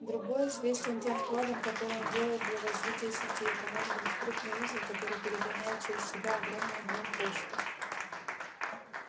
другой известен тем вкладом который он делает для развития сети это может быть крупный узел который перегоняет через себя огромный объём почты